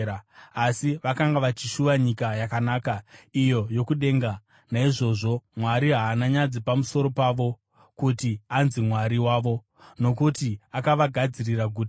Asi vakanga vachishuva nyika yakanaka, iyo yokudenga. Naizvozvo Mwari haana nyadzi pamusoro pavo kuti anzi Mwari wavo, nokuti akavagadzirira guta.